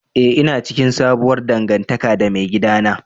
Eh ina cikin sabuwar dangantaka da maigidana.